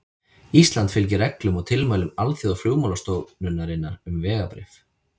Ísland fylgir reglum og tilmælum Alþjóðaflugmálastofnunarinnar um vegabréf.